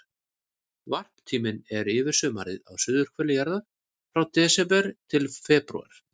Varptíminn er yfir sumarið á suðurhveli jarðar, frá desember til febrúar.